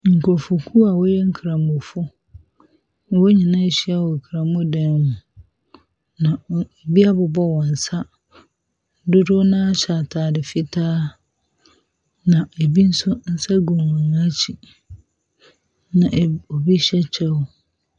Nkurɔfokuo a wɔyɛ nkramofo. Wɔn nyinaa ahyia wɔ nkramo dan mu, na wɔn ebi abobɔ wɔn nsa. Dodow no ara hyɛ ntade fitaa, na ebi nso nsa gu wɔn akyi, na eb obi hyɛ kyɛw.